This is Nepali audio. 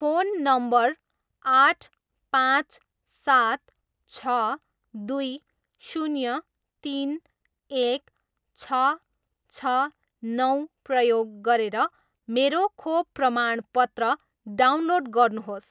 फोन नम्बर आठ पाँच सात छ दुई शून्य तिन एक छ छ नौ प्रयोग गरेर मेरो खोप प्रमाणपत्र डाउनलोड गर्नुहोस्